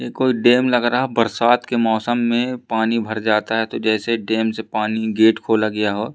ये कोई डैम लग रहा बरसात के मौसम में पानी भर जाता है तो जैसे डैम से पानी गेट खोला गया हो--